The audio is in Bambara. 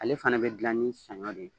Ale fana bɛ dilan ni sanɲɔ de ye.